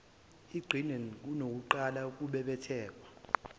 iqine kunakuqala kubhebhetheke